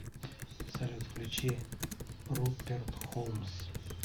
салют включи руперт холмс